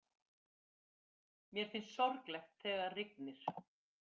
Mér finnst sorglegt þegar rignir.